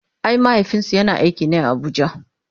ai mahaifinsu yana aiki ne a Abuja